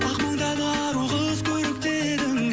ақ маңдайлы ару қыз көрікті едің